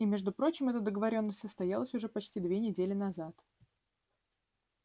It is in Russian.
и между прочим эта договорённость состоялась уже почти две недели назад